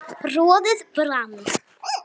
roðið brann